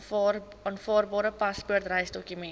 aanvaarbare paspoort reisdokument